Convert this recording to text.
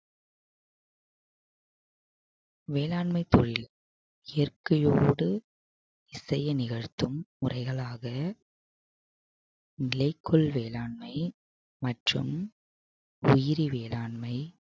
வேளாண்மை தொழில் இயற்கையோடு இசைய நிகழ்த்தும் உரைகளாக நிலைக்குள் வேளாண்மை மற்றும் உயிரி வேளாண்மை